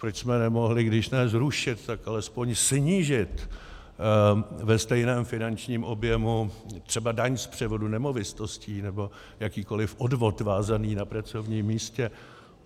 Proč jsme nemohli když ne zrušit, tak alespoň snížit ve stejném finančním objemu třeba daň z převodu nemovitostí nebo jakýkoliv odvod vázaný na pracovním místě?